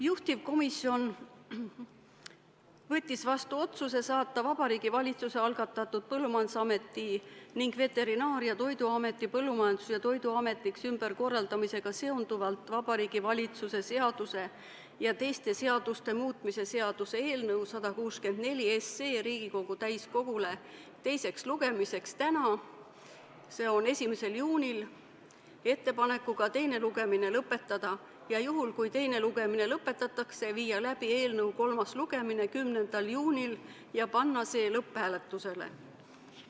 Juhtivkomisjon võttis vastu otsuse saata Vabariigi Valitsuse algatatud Põllumajandusameti ning Veterinaar- ja Toiduameti Põllumajandus- ja Toiduametiks ümberkorraldamisega seonduvalt Vabariigi Valitsuse seaduse ja teiste seaduste muutmise seaduse eelnõu 164 Riigikogule teiseks lugemiseks tänaseks, s.o 1. juuniks ettepanekuga teine lugemine lõpetada ja juhul kui teine lugemine lõpetatakse, viia läbi eelnõu kolmas lugemine 10. juunil ja panna see lõpphääletusele.